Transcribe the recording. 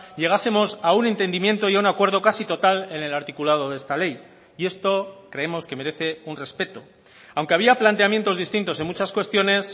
llegásemos a un entendimiento y a un acuerdo casi total en el articulado de esta ley y esto creemos que merece un respeto aunque había planteamientos distintos en muchas cuestiones